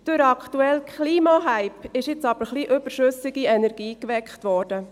Durch den aktuellen Klimahype ist nun aber ein wenig überschüssige Energie geweckt worden.